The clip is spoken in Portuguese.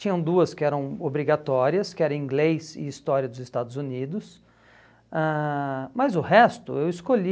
Tinham duas que eram obrigatórias, que era inglês e história dos Estados Unidos, ãh mas o resto eu escolhi...